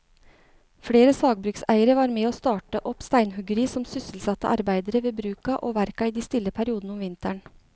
Flere sagbrukseiere var med å starte opp steinhuggeri som sysselsatte arbeidere ved bruka og verka i de stille periodene om vinteren.